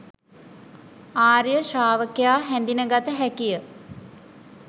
ආර්ය ශ්‍රාවකයා හැඳින ගත හැකියි